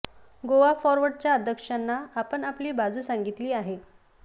गोवा फॉरवर्डच्या अध्यक्षांना आपण आपली बाजू सांगितली आहे